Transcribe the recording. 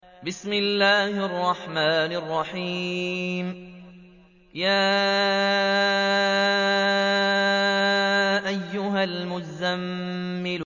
يَا أَيُّهَا الْمُزَّمِّلُ